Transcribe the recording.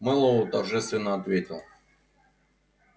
мэллоу торжественно ответил